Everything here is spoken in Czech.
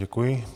Děkuji.